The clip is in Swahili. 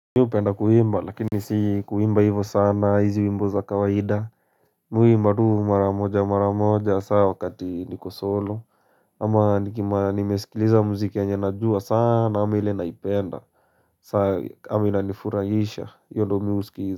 Mimi hupenda kuimba, lakini si kuimba hivo sana, hizi wimbo za kawaida. Mimi huimba tu mara moja, mara moja, hasa wakati niko solo. Ama nikiwaa nimeskiliza muziki yenye najua sana, ama ile naipenda. Sa kama inanifuraisha. Hiyo ndio mi husikiza.